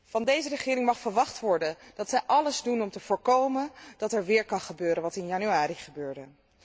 Van deze regering mag verwacht worden dat zij alles doet om te voorkomen dat er weer kan gebeuren wat in januari gebeurde.